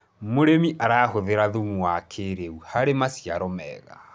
mũrĩmi arahuthira thumu wa kĩiriu harĩ maciaro mega